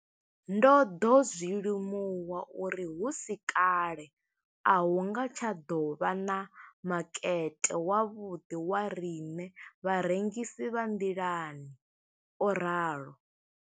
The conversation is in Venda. Ndo ḓo zwi limuwa uri hu si kale a hu nga tsha ḓo vha na makete wavhuḓi wa riṋe vharengisi vha nḓilani, o ralo.